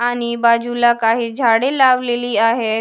आणि बाजूला काही झाडे लावलेली आहेत.